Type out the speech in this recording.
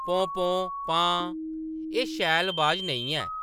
पौं, पौं ! पां ! एह्‌‌ शैल अवाज नेईं ऐ ।